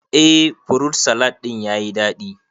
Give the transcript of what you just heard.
Eh furut salad ɗin yayi daɗi